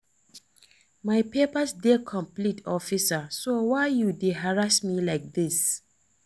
My papers dey complete officer so why you dey harass me like dis